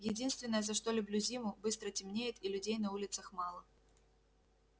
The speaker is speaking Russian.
единственное за что люблю зиму быстро темнеет и людей на улицах мало